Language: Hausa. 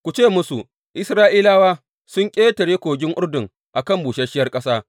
Ku ce musu, Isra’ilawa sun ƙetare kogin Urdun a kan busasshiyar ƙasa.’